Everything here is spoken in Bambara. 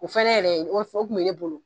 O fana yɛrɛ o fɔo tun bɛ ne bolo